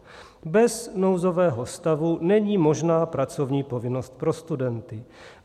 Bez nouzového stavu není možná pracovní povinnost pro studenty.